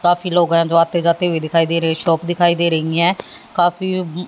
काफी लोग है जो आते जाते हुए दिखाई दे रहे हैं शॉप दिखाई दे रही हैं काफी--